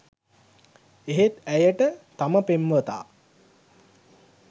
එහෙත් ඇයට තම පෙම්වතා